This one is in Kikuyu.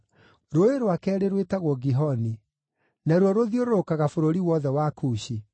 Rũũĩ rwa keerĩ rwĩtagwo Gihoni; naruo rũthiũrũrũkaga bũrũri wothe wa Kushi.